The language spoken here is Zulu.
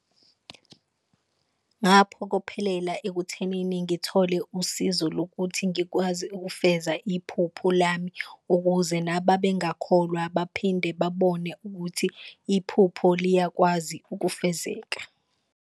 Ngaphokophelela ekuthenini ngithole usizo lokuthi ngikwazi ukufeza iphupho lami, ukuze nababengakholwa baphinde babone ukuthi iphupho liyakwazi ukufezeka.